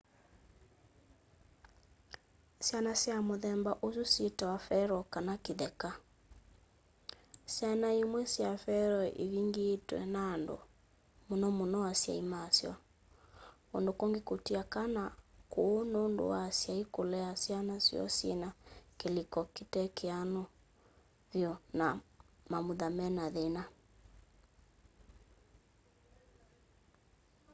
syana sya muthemba usu syitawa feral” kana kitheka. syana imwe sya feral ivingiitwe nandu muno muno asyai masyo ; kundu kungi kutia kana kuu nundu wa asyai kulea syana syoo syina kiliko kitekianu vyu na mamutha mena thina